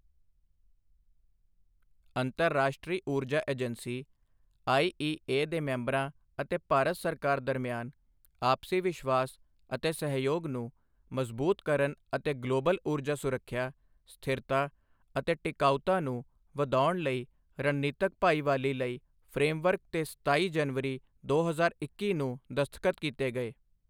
ਅੰਤਰਰਾਸ਼ਟਰੀ ਊਰਜਾ agency IEA ਦੇ ਮੈਂਬਰਾਂ ਅਤੇ ਭਾਰਤ ਸਰਕਾਰ ਦਰਮਿਆਨ ਆਪਸੀ ਵਿਸ਼ਵਾਸ ਅਤੇ ਸਹਿਯੋਗ ਨੂੰ ਮਜ਼ਬੂਤ ਕਰਨ ਅਤੇ ਗਲੋਬਲ ਊਰਜਾ ਸੁਰੱਖਿਆ, ਸਥਿਰਤਾ ਅਤੇ ਟਿਕਾਊਤਾ ਨੂੰ ਵਧਾਉਣ ਲਈ ਰਣਨੀਤਕ ਭਾਈਵਾਲੀ ਲਈ ਫਰੇਮਵਰਕ ਤੇ ਸਤਾਈ ਜਨਵਰੀ, ਦੋ ਹਜ਼ਾਰ ਇੱਕੀ ਨੂੰ ਦਸਤਖਤ ਕੀਤੇ ਗਏ।